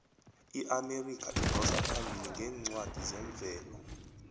iamerika idosa phambili ngeencwadi zemvelo